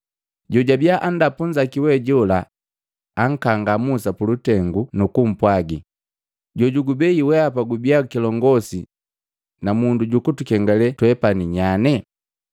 Jojabiya andapu nzaki wejola ankanga Musa pulutengu nukumpwagi, ‘Jojukubei weapa gubia kilongosi na mundu jukutukengalee twepani nyane.’